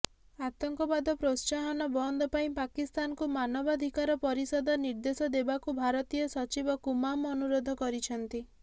ଆତଙ୍କବାଦ ପ୍ରୋତ୍ସାହନ ବନ୍ଦ ପାଇଁ ପାକିସ୍ତାନକୁ ମାନବାଧିକାର ପରିଷଦ ନିର୍ଦ୍ଦେଶ ଦେବାକୁ ଭାରତୀୟ ସଚିବ କୁମାମ୍ ଅନୁରୋଧ କରିଛନ୍ତି